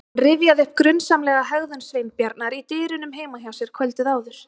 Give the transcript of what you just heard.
Hann rifjaði upp grunsamlega hegðun Sveinbjarnar í dyrunum heima hjá sér kvöldið áður.